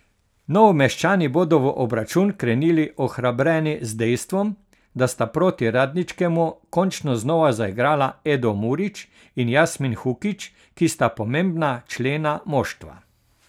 Novomeščani bodo v obračun krenili ohrabreni z dejstvom, da sta proti Radničkemu končno znova zaigrala Edo Murič in Jasmin Hukić, ki sta pomembna člena moštva.